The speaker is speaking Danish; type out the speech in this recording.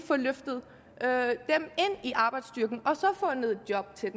få løftet ind i arbejdsstyrken og fundet job til